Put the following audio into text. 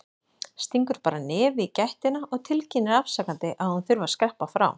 Stingur bara nefi í gættina og tilkynnir afsakandi að hún þurfi að skreppa frá.